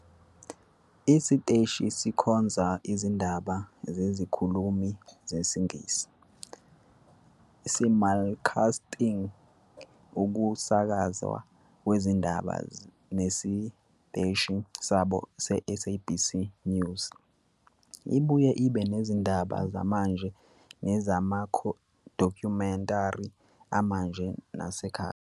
Isiteshi sikhonza izindaba zezikhulumi zesiNgisi, simulcasting ukusakazwa kwezindaba nesiteshi sabo seSABC News. Ibuye ibe nezindaba zamanje nezamadokhumentari amanje nasekhaya.